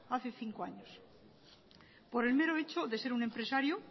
hace cinco años por el mero hecho de ser un empresario